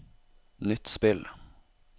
nytt spill